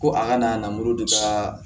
Ko a kana na mori de ka